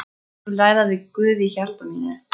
Ég vil ræða við Guð í hjarta mínu.